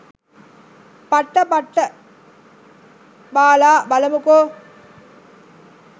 පට්ට පට්ට බාලා බලමුකො.